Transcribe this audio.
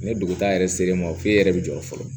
Ni duguta yɛrɛ sera e ma o f'e yɛrɛ bi jɔrɔ fɔlɔ